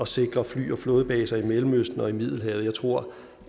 sikre fly og flådebaser i mellemøsten og i middelhavet jeg tror